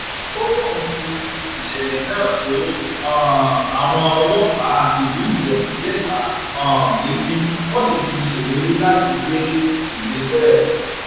ó lóun ti fi ìṣẹlẹ náà tó um àwọn ọlọpàá ìlú ìjẹbújésà um létí wọn sì ti ṣèlérí láti gbé ìgbésẹ